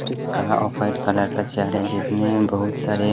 white colour का chair है जिसमें बहुत सारे--